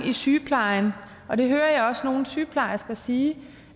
i sygeplejen jeg hører også nogle sygeplejersker sige